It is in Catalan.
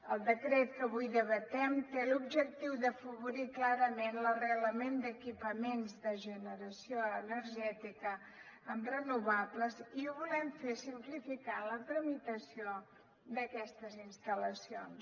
el decret que avui debatem té l’objectiu d’afavorir clarament l’arrelament d’equipaments de generació energètica amb renovables i ho volem fer simplificant la tramitació d’aquestes instal·lacions